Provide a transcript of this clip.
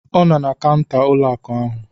Ọ nọ na kaụnta ụlọ akụ ahụ